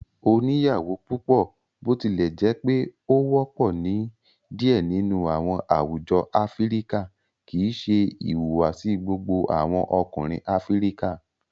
Oniyawo pupọ, botilẹjẹpe o wọpọ ni diẹ nínú awọn àwùjọ Áfíríkà, kìí ṣe ìhùwàsí gbogbo awọn Ọkùnrin Áfíríkà.